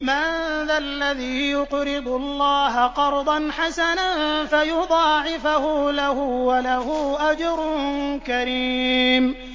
مَّن ذَا الَّذِي يُقْرِضُ اللَّهَ قَرْضًا حَسَنًا فَيُضَاعِفَهُ لَهُ وَلَهُ أَجْرٌ كَرِيمٌ